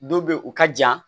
Don bɛ yen u ka jan